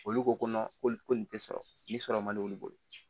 Olu ko ko nin te sɔrɔ nin sɔrɔ man di olu bolo